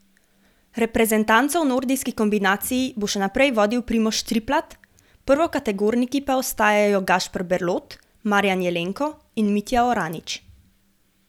Reprezentanco v nordijski kombinaciji bo še naprej vodil Primož Triplat, prvokategorniki pa ostajajo Gašper Berlot, Marjan Jelenko in Mitja Oranič.